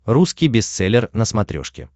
русский бестселлер на смотрешке